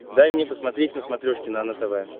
дай мне посмотреть на смотрешке нано тв